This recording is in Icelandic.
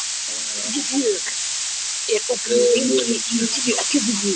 Vébjörg, hvað er opið lengi í Tíu ellefu?